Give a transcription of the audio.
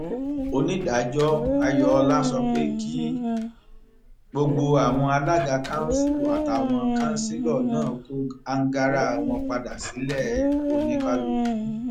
onídàájọ ayọọlá sọ pé kí gbogbo àwọn alága kanṣu àtàwọn kanṣẹlò náà kó àǹgára wọn padà sílẹ oníkálukú